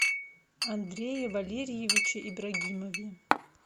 андрее валерьевиче ибрагимове